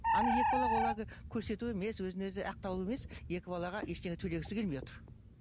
ана екі бала ол әлгі көрсету емес өзін өзі ақтау емес екі балаға ештеңе төлегісі келмей отыр